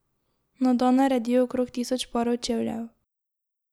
Na dan naredijo okrog tisoč parov čevljev.